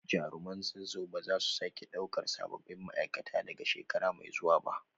Jaruman Zazzau ba za su sake daukar sabbin ma’aikata daga shekara mai zuwa ba